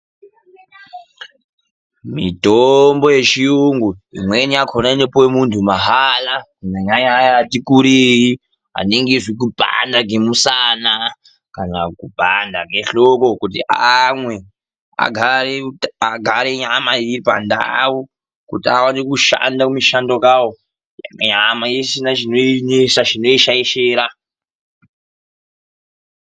Mitombo yechiyungu imweni yakhona inopuwe mundhu mahala, kunyanyanya aya ati kurisei, anenge zvekupanda kemusana, kana kupanda kehloko kuti amwe. Agare nyama iri pandau, kuti aone kushanda kumishando kawo nyama isina chinoinesa, chinoishaishira.